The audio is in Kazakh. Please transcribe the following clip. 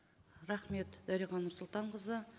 рахмет дариға нұрсұлтанқызы